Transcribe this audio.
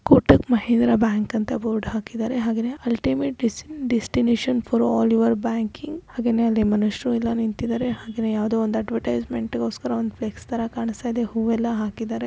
Kotak Mahindra bank ಅಂತಾ board ಹಾಕಿದ್ದಾರೆ. ಹಾಗೇನೇ ultimate desti destination for all your banking ಹಾಗೇನು ಅಲ್ಲಿ ಮನುಷ್ಯರು ಯಲ್ಲಾ ನಿಂತಿದ್ದಾರೆ. ಹಾಗೇನೋ ಯಾವ್ದೋ ಒಂದ್ ಅವೆರ್ಟಿಸೆಮೆಂಟ್ ಇಗೋಸ್ಕರ ಒಂದ್ ಫ್ಲೆಕ್ಸ್ ಥರಾ ಕಾಂಸ್ತಾಯಿದೆ. ಹೂ ಯಲ್ಲಾ ಹಾಕಿದಾರೆ.